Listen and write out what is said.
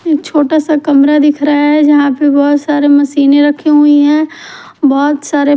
एक छोटा सा कमरा दिख रहा है जहा पर बोहोत साडी मशीने रखी हुई है बोहोत सारे --